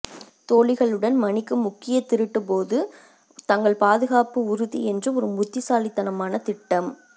தோழிகளுடன் மணிக்கு முக்கிய திருட்டு போது தங்கள் பாதுகாப்பு உறுதி என்று ஒரு புத்திசாலித்தனமான திட்டம்